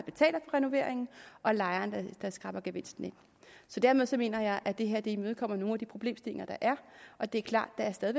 renoveringen og lejeren der skraber gevinsten ind så dermed mener jeg at det her imødekommer nogle af de problemstillinger der er det er klart at der stadig